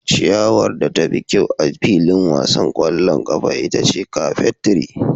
Ciyawar da tafi kyau a filin wasan ƙwallon ƙafa ita ce carpet tree.